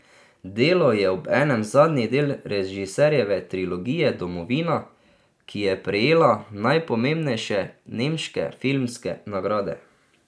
Delo je obenem zadnji del režiserjeve trilogije Domovina, ki je prejela najpomembnejše nemške filmske nagrade.